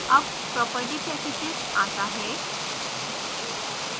अब property packages आता है